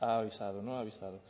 avisado